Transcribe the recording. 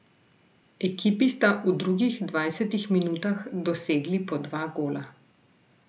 Ekipi sta v drugih dvajsetih minutah dosegli po dva gola.